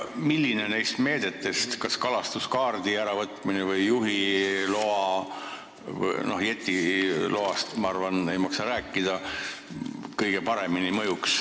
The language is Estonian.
Milline neist meetmetest, kas kalastuskaardi või juhiloa äravõtmine – jetiloast, ma arvan, ei maksa rääkida –, mõjuks kõige paremini?